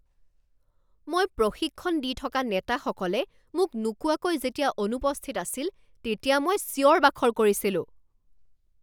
মই প্ৰশিক্ষণ দি থকা নেতাসকলে মোক নোকোৱাকৈ যেতিয়া অনুপস্থিত আছিল তেতিয়া মই চিঞৰ বাখৰ কৰিছিলোঁ।